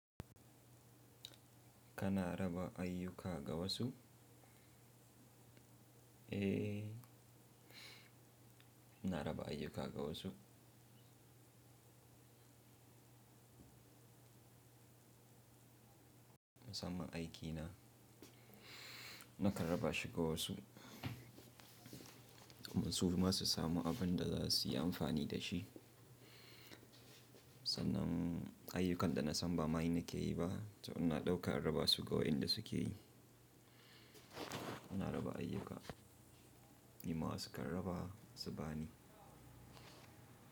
Kana raba ayyuka gawasu? Eh, ina raba ayyuka gawasu. Musamman aiki na, nakan raba shi gawasu domin suma su samu abin da za su yi amfani da shi. Sanan ayyukan da na san bama ni nake yi ba, to ina dauka in raba su ga waɗanda suke yi. Ina raba ayyuka, ni ma wasu kan raba su ba ni.